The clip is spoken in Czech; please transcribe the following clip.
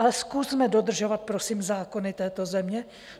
Ale zkusme dodržovat, prosím, zákony této země.